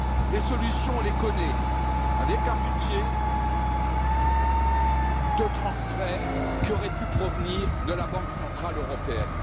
Les solutions, on les connaît, avec un budget de transferts, qui aurait pu provenir de la Banque centrale européenne.